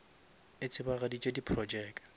e tsebagaditše di projeke